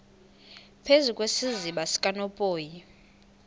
phezu kwesiziba sikanophoyi